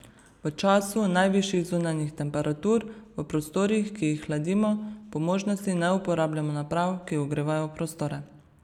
V času najvišjih zunanjih temperatur v prostorih, ki jih hladimo, po možnosti ne uporabljamo naprav, ki ogrevajo prostore.